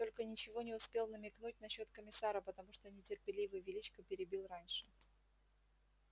только ничего не успел намекнуть насчёт комиссара потому что нетерпеливый величко перебил раньше